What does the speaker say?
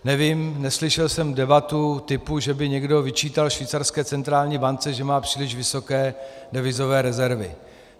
Nevím, neslyšel jsem debatu typu, že by někdo vyčítal švýcarské centrální bance, že má příliš vysoké devizové rezervy.